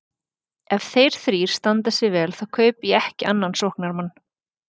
Ef þeir þrír standa sig vel þá kaupi ég ekki annan sóknarmann.